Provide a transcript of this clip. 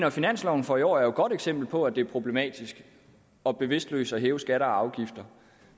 at finansloven for i år er et godt eksempel på at det er problematisk og bevidstløst at hæve skatter og afgifter